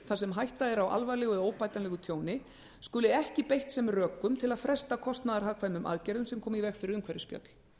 þar sem hætta er á alvarlegu eða óbætanlegu tjóni skuli ekki beitt sem rökum til að fresta kostnaðarhagkvæmum aðgerðum sem koma í veg fyrir umhverfisspjöll